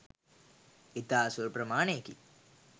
ඉතා සුළු ප්‍රමාණයකි.